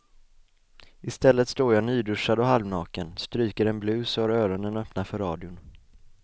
Istället står jag nyduschad och halvnaken, stryker en blus och har öronen öppna för radion.